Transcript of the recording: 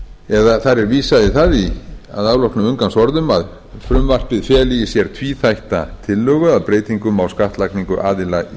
eða þar er vísað í það að afloknum inngangsorðum að frumvarpið feli í sér tvíþætta tillögu að breytingum á skattlagningu aðila í